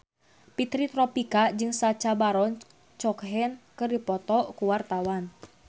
Fitri Tropika jeung Sacha Baron Cohen keur dipoto ku wartawan